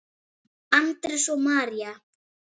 Andrés og María.